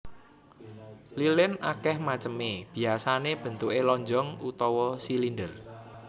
Lilin akeh maceme biyasané bentuké lonjong utawa silinder